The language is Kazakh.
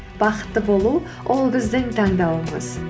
бақытты болу ол біздің таңдауымыз